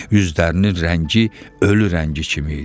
Üzlərinin rəngi ölü rəngi kimi idi.